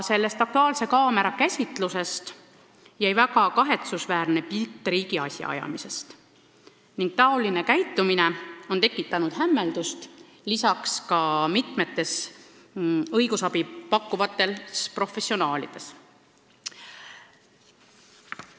Sellest "Aktuaalse kaamera" käsitlusest jäi väga kahetsusväärne pilt riigi asjaajamisest ning selline käitumine on tekitanud hämmeldust ka mitmetes õigusabi pakkuvates professionaalides.